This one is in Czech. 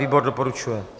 Výbor doporučuje.